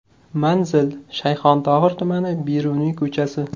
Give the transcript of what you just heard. Manzil: Shayxontohur tumani, Beruniy ko‘chasi.